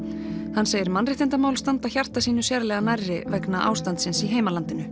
hann segir mannréttindamál standa hjarta sínu sérlega nærri vegna ástandsins í heimalandinu